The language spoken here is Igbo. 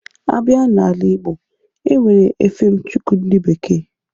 Abịa n'ala-igb)o, enwere efem chukwu ndị bekee.